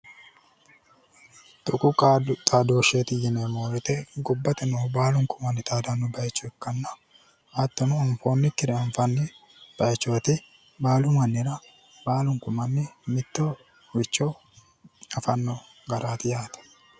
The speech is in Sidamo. Tuqu xadooshshe yineemmo woyiite gobbate noohu baalunku xaadanno bayicho ikkanna hattono anfoonnikkire anfanni bayichooti baalu mannira baalunku manni mittoricho afanno garaati yaate.